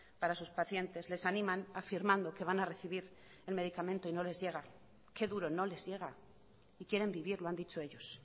para sus pacientes les animan afirmando que van a recibir el medicamento y no les llega qué duro no les llega y quieren vivir lo han dicho ellos